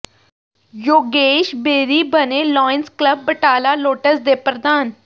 ਯੋਗੇਸ਼ ਬੇਰੀ ਬਣੇ Lions club Batala Lotus ਦੇ ਪ੍ਰਧਾਨ